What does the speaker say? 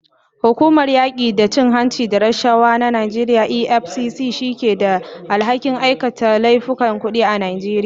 Hukumar yaki da cin hanci da rashawa ta Najeriya EFCC ce ke da alhakin aikata laifukan kudi a Najeriya.